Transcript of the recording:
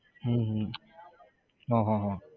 હમ હમ હા હા હા